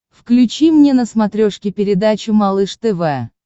включи мне на смотрешке передачу малыш тв